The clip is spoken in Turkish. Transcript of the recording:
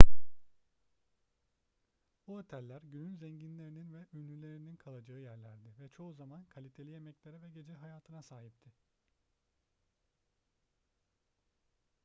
bu oteller günün zenginlerinin ve ünlülerinin kalacağı yerlerdi ve çoğu zaman kaliteli yemeklere ve gece hayatına sahipti